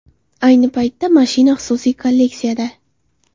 Ayni paytda mashina xususiy kolleksiyada.